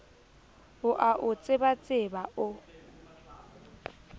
o a o tsebatseba o